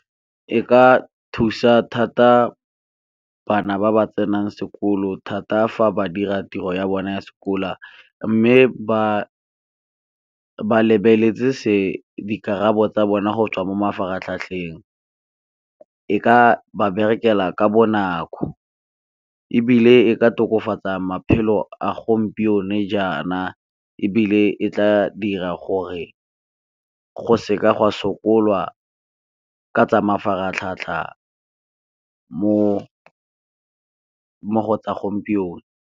E ka thusa thata bana ba ba tsenang sekolo thata fa ba dira tiro ya bona ya , mme ba lebeletse dikarabo tsa bona go tswa mo mafaratlhatlheng. E ka ba berekela ka bonako, ebile e ka tokafatsa maphelo a gompieno jana, ebile e tla dira gore go seka go a sokola ka tsa mafaratlhatlha mo go tsa gompieno.